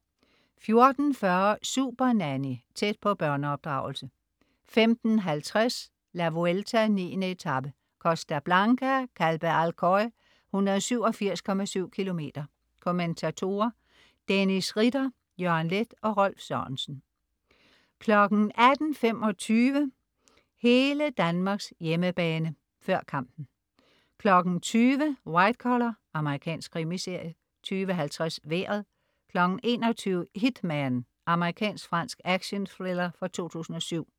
14.40 Supernanny. Tæt på børneopdragelse 15.50 La Vuelta: 9. etape, Costa Blanca. Calpe-Alcoy, 187,7 km. Kommentatorer: Dennis Ritter, Jørgen Leth og Rolf Sørensen 18.25 Hele Danmarks hjemmebane, før kampen 20.00 White Collar. Amerikansk krimiserie 20.50 Vejret 21.00 Hitman. Amerikansk- fransk action-thriller fra 2007